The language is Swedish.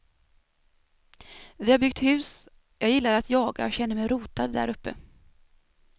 Vi har byggt hus, jag gillar att jaga och känner mig rotad där uppe.